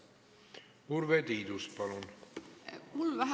Urve Tiidus, palun!